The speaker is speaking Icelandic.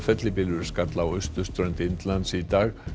fellibylur skall á austurströnd Indlands í dag